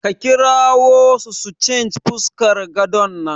A kirawo su su change fuskar gadon nan.